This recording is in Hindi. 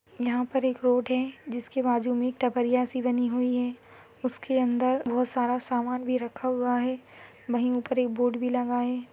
यहाँ पर एक रोड है जिसके बाजू मे एक टपरिया सी बनी हुई है इसके अंदर बहुत सारा सामान भी रखा हुआ है वही ऊपर एक बोर्ड भी लगा है।